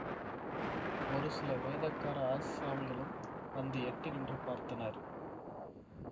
ஒரு சில வேதக்கார ஆசாமிகளும் வந்து எட்டி நின்று பார்த்தனர்